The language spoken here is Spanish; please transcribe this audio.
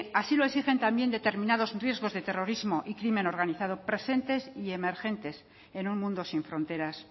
así lo exigen también determinados riesgos de terrorismo y crimen organizado presentes y emergentes en un mundo sin fronteras